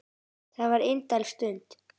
Það var indæl stund.